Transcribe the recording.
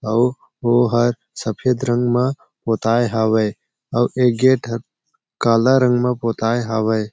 अउ ओ हर सफेट रंग म पोताय हावय आऊ ये गेट ह काला रंग म पोताय हावय।